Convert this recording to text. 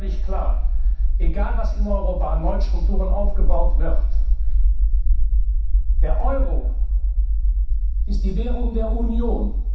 Eines ist völlig klar Egal, was in Europa an neuen Strukturen aufgebaut wird, der Euro ist die Währung der Union.